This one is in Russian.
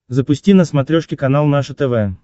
запусти на смотрешке канал наше тв